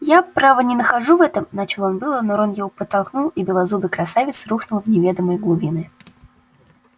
я право не нахожу в этом начал он было но рон его подтолкнул и белозубый красавец ухнул в неведомые глубины